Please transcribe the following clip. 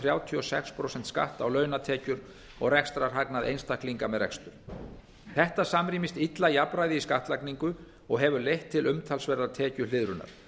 þrjátíu og sex prósent skatt á launatekjur og rekstrarhagnað einstaklinga með rekstur þetta samrýmist illa jafnræði í skattlagning og hefur leitt til umtalsverðrar tekjuhliðrunar með